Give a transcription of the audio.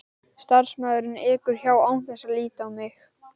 Starfsmaðurinn ekur hjá án þess að líta á mig.